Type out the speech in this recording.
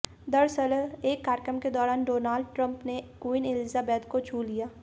दरअसल एक कार्यक्रम के दौरान डोनाल्ड ट्रंप ने क्वीन एलिजाबेथ को छू लिया